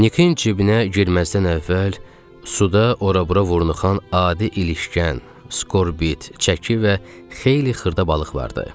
Nikin cibinə girməzdən əvvəl suda ora-bura vurnuxan adi ilişgən, skorbit, çəki və xeyli xırda balıq vardı.